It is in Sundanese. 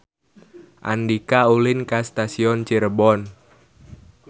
Andika ulin ka Stasiun Cirebon